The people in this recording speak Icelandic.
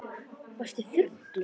Varstu fullur?